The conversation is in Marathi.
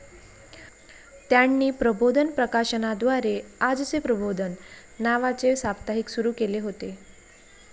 त्यांनी प्रबोधन प्रकाशनाद्वारे 'आजचे प्रबोधन' नावाचे साप्ताहिक सुरू केले होते.